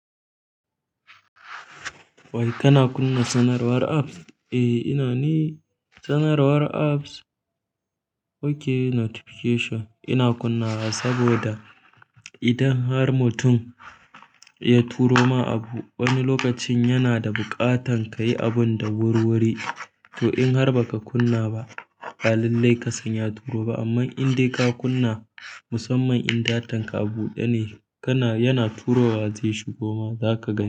Wai kana kunna sanarwar apps? Eh ina ne sanarwar apps. Okay notification ina kunna wa saboda idan har mutum ya turo ma abu wani lokacin yana da buƙatan kayi abun da wurwuri to in har baka kunna ba, balallai ka sanya turo ba amma in dai ka kunna musamman in datan ka abuɗe ne kana yana turowa zai shigo ma zaka ga.